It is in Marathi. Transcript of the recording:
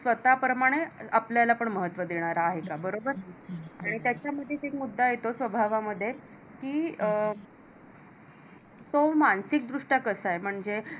स्वतः प्रमाणे आपल्याला पण महत्व देणारा आहे का बरोबर आणि त्याच्यामध्ये एक मुद्दा येतो स्वभावामध्ये कि अं तो मानसिकरित्या कसा आहे? म्हणजे